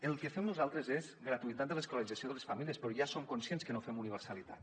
el que fem nosaltres és gratuïtat de l’escolarització de les famílies però ja som conscients que no fem universalitat